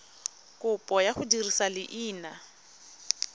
kopo ya go dirisa leina